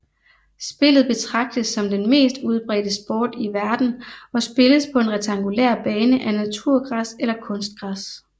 Spillet betragtes som den mest udbredte sport i verden og spilles på en rektangulær bane af naturgræs eller kunstgræs